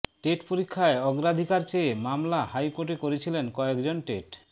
TET পরীক্ষায় অগ্রাধিকার চেয়ে মামলা হাইকোর্টে করেছিলেন কয়েকজন টেট